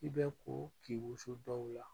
I bɛ ko k'i wuso dɔw la